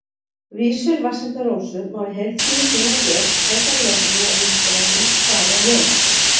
Vísur Vatnsenda-Rósu má í heild sinni finna hér Frekara lesefni á Vísindavefnum: Hvað er ljóð?